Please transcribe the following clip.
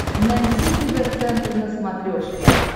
найти тв центр на смотрешке